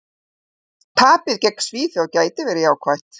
Tapið gegn Svíþjóð gæti verið jákvætt.